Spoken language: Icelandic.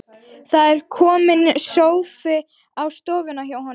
Það er kominn sófi á stofuna hjá honum.